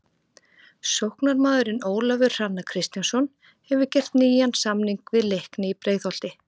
Sóknarmaðurinn Ólafur Hrannar Kristjánsson hefur gert nýjan samning við Leikni í Breiðholti.